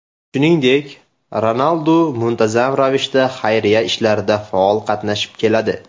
Shuningdek, Ronaldu muntazam ravishda xayriya ishlarida faol qatnashib keladi.